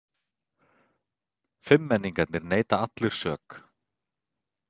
Fimmmenningarnir neita allir sök